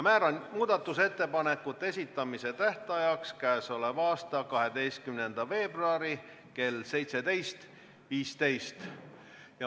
Määran muudatusettepanekute esitamise tähtajaks k.a 12. veebruari kell 17.15.